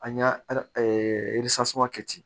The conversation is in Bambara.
An y'a kɛ ten